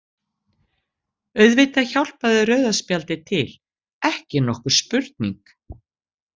Auðvitað hjálpaði rauða spjaldið til, ekki nokkur spurning.